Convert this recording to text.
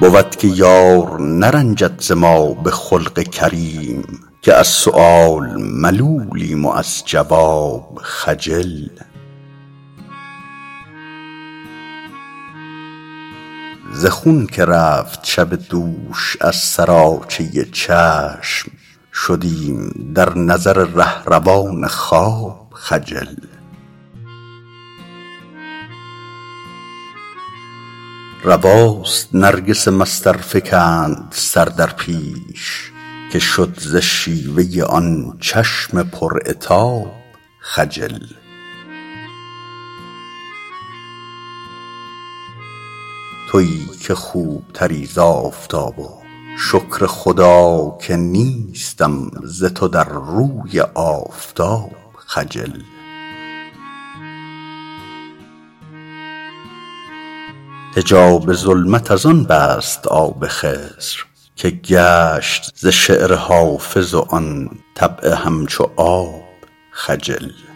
بود که یار نرنجد ز ما به خلق کریم که از سؤال ملولیم و از جواب خجل ز خون که رفت شب دوش از سراچه چشم شدیم در نظر رهروان خواب خجل رواست نرگس مست ار فکند سر در پیش که شد ز شیوه آن چشم پر عتاب خجل تویی که خوب تری ز آفتاب و شکر خدا که نیستم ز تو در روی آفتاب خجل حجاب ظلمت از آن بست آب خضر که گشت ز شعر حافظ و آن طبع همچو آب خجل